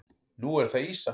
Nú er það ýsa.